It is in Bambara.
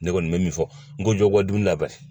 Ne kɔni mɛ min fɔ n ko jɔ bɔ dunli la banni.